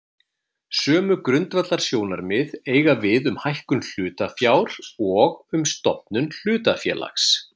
Sömu grundvallarsjónarmið eiga við um hækkun hlutafjár og um stofnun hlutafélags.